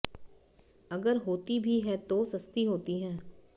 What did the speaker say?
अगर होती भी है तो सस्ती होती है